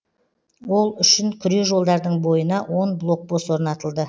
ол үшін күре жолдардың бойына он блокпост орнатылды